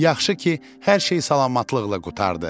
Yaxşı ki, hər şey salamatlıqla qurtardı.